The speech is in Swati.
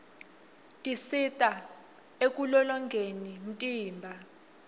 tisista ekulolgnqfni umtimba